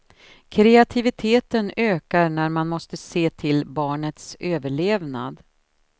Kreativiteten ökar när man måste se till barnets överlevnad.